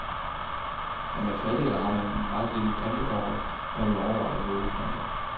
Er man fattig, eller har man et meget lille printerbehov, bør man overveje en nåleprinter.